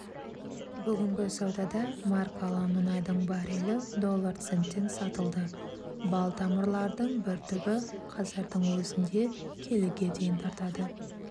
бүгінгі саудада маркалы мұнайдың баррелі доллар центтен сатылды балтамырлардың бір түбі қазірдің өзінде келіге дейін тартады